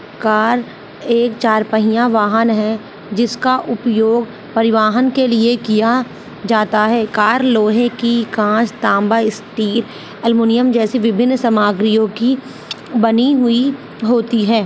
Car एक चार पहिया वाहन है जिसका उपयोग परिवाहन के लिए किया जाता है। कार लोहे की कांच तांबा स्टी अल्युमिनियम जैसी विभिन्न सामग्रियों की बनी हुई होती है।